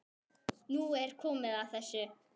Nú er komið að þessu.